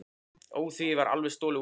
Ó, því var alveg stolið úr mér.